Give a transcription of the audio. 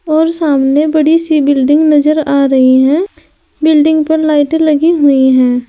और सामने बड़ी सी बिल्डिंग नजर आ रही हैं बिल्डिंग पर लाइटें लगी हुई हैं।